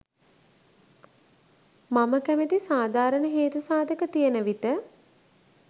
මම කැමති සාදාරන හේතු සාදක තියෙනවිට